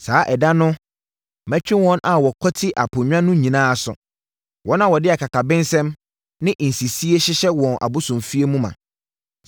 Saa ɛda no mɛtwe wɔn a wɔkwati aponnwa no nyinaa aso. Wɔn a wɔde akakabensɛm ne nsisie hyehyɛ wɔn abosomfie ma no.